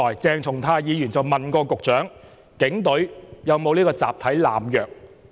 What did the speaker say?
鄭松泰議員剛才問局長警隊有沒有集體濫藥？